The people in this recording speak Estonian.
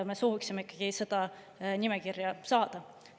Me sooviksime ikkagi seda nimekirja saada.